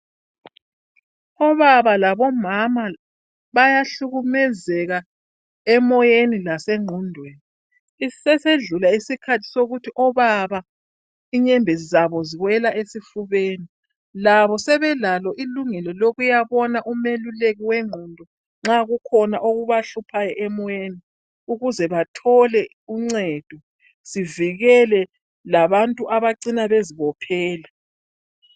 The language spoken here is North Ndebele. Obaba labomama bayahlukumezeka emoyeni lasengqondweni sesidlulile isikhathi sokuthi obaba inyembezi zabo ziwela esifubeni labo sebelalo ilungelo lokuyabona umeluleki wengqondo nxa kukhona okubahluphayo emoyeni ukuze bathole uncedo sivikele labantu abacina bezibophela